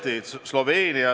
Lugupeetud peaminister!